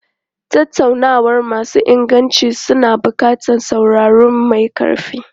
Tattaunawa masu inganci suna buƙatar sauraro mai ƙarfi.